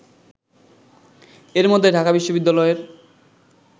এর মধ্যে ঢাকা বিশ্ববিদ্যালয়ের